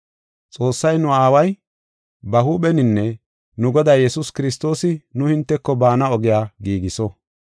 Xoossay nu aaway ba huupheninne nu Goday Yesuus Kiristoosi nu hinteko baana ogiya giigiso.